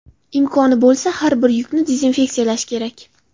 Imkoni bo‘lsa, har bir yukni dezinfeksiyalash kerak.